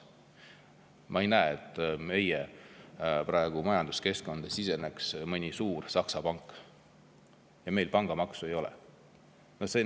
Ma ei näe, et meie majanduskeskkonda siseneks praegu mõni suur Saksa pank, ja meil pangamaksu ei ole.